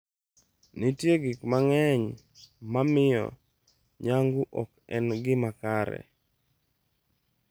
Nitie gik mang'eny ma miyo nyangu ok en gima kare.